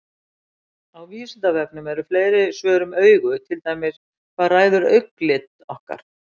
Á Vísindavefnum eru fleiri svör um augu, til dæmis: Hvað ræður augnalit okkar?